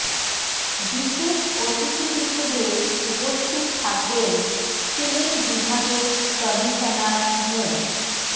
বিশেষ অতিথি হিসেবে উপস্থিত থাকবেন সিলেট বিভাগের কমিশনার মো